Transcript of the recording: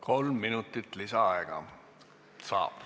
Kolm minutit lisaaega saab.